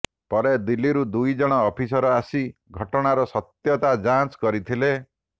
ପରେ ଦିଲ୍ଲୀରୁ ଦୁଇ ଜଣ ଅଫିସର ଆସି ଘଟଣାର ସତ୍ୟତା ଯାଂଚ କରିଥିଲେ